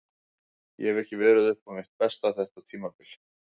Ég hef ekki verið upp á mitt besta þetta tímabil.